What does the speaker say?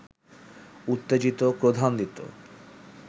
উত্তেজিত, ক্রোধান্বিত